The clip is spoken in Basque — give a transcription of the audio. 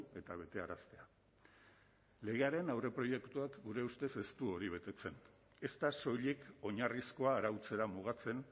eta betearaztea legearen aurreproiektuak gure ustez ez du hori betetzen ez da soilik oinarrizkoa arautzera mugatzen